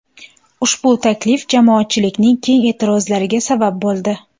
Ushbu taklif jamoatchilikning keng e’tirozlariga sabab bo‘ldi.